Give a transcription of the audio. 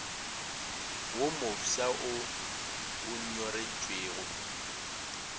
wo mofsa wo o nyoretšwego